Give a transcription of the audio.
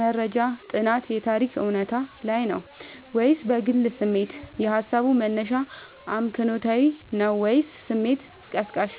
(መረጃ፣ ጥናት፣ የታሪክ እውነታ) ላይ ነው ወይስ በግል ስሜት? የሃሳቡ መነሻ አመክንዮአዊ ነው ወይስ ስሜት ቀስቃሽ?